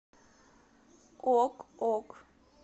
ок ок